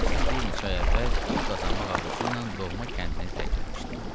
Cəmisi bir neçə ay əvvəl pul qazanmaq arzusu ilə doğma kəndini tərk eləmişdi.